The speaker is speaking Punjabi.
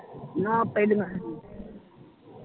ਨਾ ਪਿਹਲੀਆਂ ਨੀ